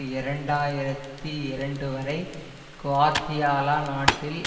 இரண்டு ஆயிரத்தி இரண்டு வரை குவாத்தியாலா நாட்டில்